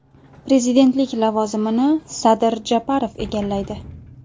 Prezidentlik lavozimini Sadir Japarov egallaydi.